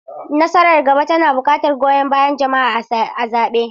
Nasarar gaba tana buƙatar goyon bayan jama'a a zaɓe.